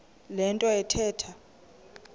le nto athetha